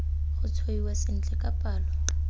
go tshwaiwa sentle ka palo